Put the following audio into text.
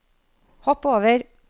hopp over